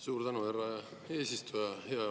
Suur tänu, härra eesistuja!